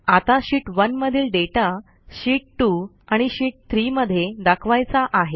आता शीत 1 मधील data sheet 2 आणि शीत 3 मधे दाखवायचा आहे